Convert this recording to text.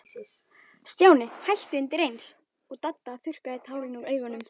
Stjáni hætti undir eins, og Dadda þurrkaði tárin úr augunum.